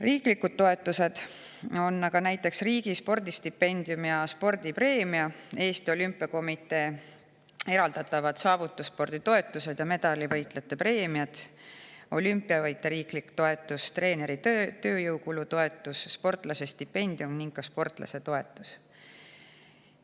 Riiklikud toetused on näiteks riigi spordistipendium ja spordipreemia, Eesti Olümpiakomitee eraldatavad saavutusspordi toetused ja medalivõitjate preemiad, olümpiavõitja riiklik toetus, treeneri tööjõukulu toetus, sportlase stipendium ning ka sportlase toetus.